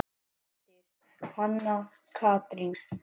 Þín dóttir, Hanna Katrín.